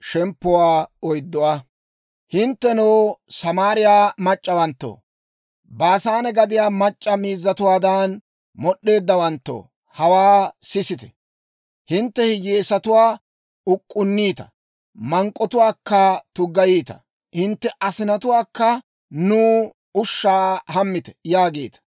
Hinttenoo, Samaariyaa mac'c'awanttoo, Baasaane gadiyaa mac'c'a miizzatuwaadan mod'd'eeddawanttoo, hawaa sisite! Hintte hiyyeesatuwaa uk'k'unniita; mank'k'otuwaakka tuggayiita. Hintte asinatuwaakka, «Nuw ushshaa hammite» yaagiita.